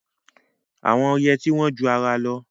Àwọn yẹtí wọ́n ju ara lọ.